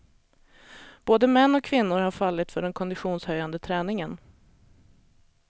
Både män och kvinnor har fallit för den konditionshöjande träningen.